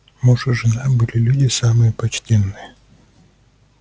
муж и жена были люди самые почтенные